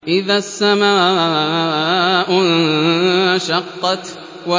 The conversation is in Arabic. إِذَا السَّمَاءُ انشَقَّتْ